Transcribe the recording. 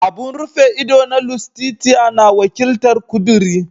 Abun rufe ido na Lustitia na wakiltar "Kuduri."